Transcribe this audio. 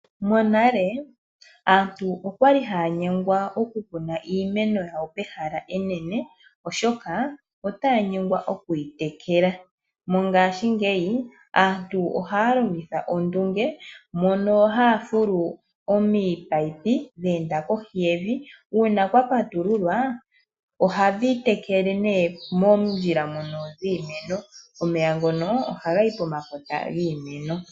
Monale aantu okwali haya nyengwa okukuna iimeno yawo pehala enene oshoka otaya nyengwa okuyi tekela. Mongashingeya aantu ohaya longitha ondunge mono haya fulu ominino dha enda kohi yevi uuna kwa patululwa ohadhi tekele nee moondjila ndhono dhiimeno, omeya ngono ohagayi pomakota giimeno.